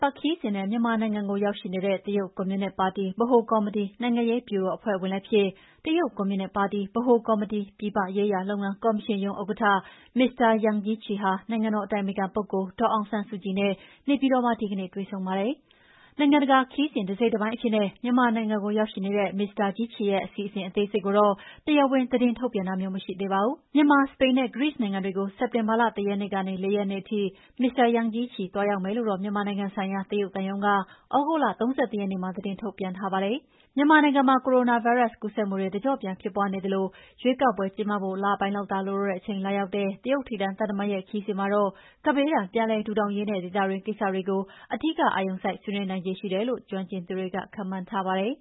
ပတ်ခရီးစဉ်နဲ့ မြန်မာနိုင်ငံကို ရောက်ရှိနေတဲ့ တရုတ်ကွန်မြူနစ်ပါတီဗဟိုကော်မတီ နိုင်ငံရေးဗျူရိုဖွဲ့ဝင်လည်းဖြစ်၊ တရုတ်ကွန်မြူနစ်ပါတီ ဗဟိုကော်မတီ ပြည်ပရေးရာလုပ်ငန်းကော်မရှင်ရုံးဥက္ကဋ္ဌ Mr Yang Jiechi ဟာ နိုင်ငံတော်အတိုင်ပင်ခံပုဂ္ဂိုလ် ဒေါ်အောင်ဆန်းစုကြည်နဲ့ နေပြည်တော်မှာ ဒီကနေ့ တွေ့ဆုံပါတယ်။ နိုင်ငံတကာခရီးစဉ် တစိတ်တပိုင်းအဖြစ်နဲ့ မြန်မာနိုင်ငံကို ရောက်ရှိနေတဲ့ မစ္စတာ Jiechi ရဲ့ အစီအစဉ်အသေးစိတ်ကိုတော့ တရားဝင် သတင်းထုတ်ပြန်တာမရှိသေးပါဘူး။ မြန်မာ၊ စပိန် နဲ့ ဂရိနိုင်ငံတွေကို စက်တင်ဘာလ ၁ ရက်နေ့ကနေ ၄ ရက်နေ့ထိ မစ္စတာ Jiechi သွားရောက်မယ်လု့ိတော့ မြန်မာနိုင်ငံဆိုင်ရာ တရုတ်သံရုံးက သြဂုတ်လ ၃၁ ရက်နေ့က သတင်းထုတ်ပြန်ထားတာပါ။ မြန်မာနိုင်ငံမှာ ကိုရိုနာဗိုင်းရပ်စ် ကူးစက်မှုတွေ တကျော့ပြန်ဖြစ်ပွားနေသလို၊ ရွေးကောက်ပွဲ ကျင်းပဖို့ လပိုင်းလောက်သာ လိုတော့တဲ့အချိန်မှာ လာရောက်မယ့် တရုတ်ထိပ်တန်းသံတမန်ရဲ့ ခရီးစဉ်မှာတော့ ကပ်ဘေးဒဏ် ပြန်လည်ထူထောင်ရေးနဲ့ ဒေသတွင်းကိစ္စတွေ အဓိကအာရုံစိုက် ဆွေးနွေးနိုင်ခြေ ရှိတယ်လို့ ကျွမ်းကျင်သူတွေက ခန့်မှန်းထားပါတယ်